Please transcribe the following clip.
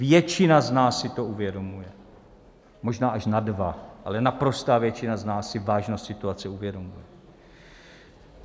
Většina z nás si to uvědomuje, možná až na dva, ale naprostá většina z nás si vážnost situace uvědomuje.